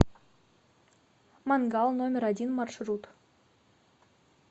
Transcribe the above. мангал номер один маршрут